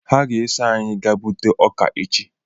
Ha ga-eso anyị gaa gbute ọka echi